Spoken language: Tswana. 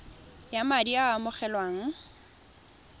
ya madi a a amogelwang